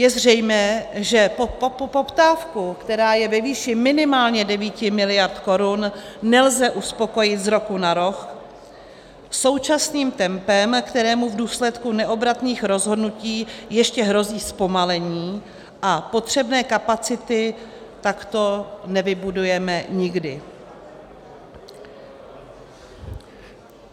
Je zřejmé, že poptávku, která je ve výši minimálně 9 miliard korun, nelze uspokojit z roku na rok současným tempem, kterému v důsledku neobratných rozhodnutí ještě hrozí zpomalení, a potřebné kapacity takto nevybudujeme nikdy.